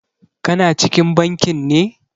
Ka na cikin bankin ne?